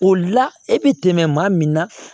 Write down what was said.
O la e bɛ tɛmɛ maa min na